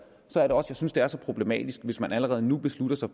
så er det også jeg synes det er så problematisk hvis man allerede nu beslutter sig